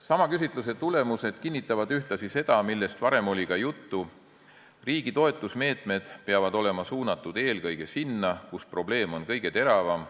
Sama küsitluse tulemused kinnitavad ühtlasi seda, millest varem ka juttu oli: riigi toetusmeetmed peavad olema suunatud eelkõige sinna, kus probleem on kõige teravam.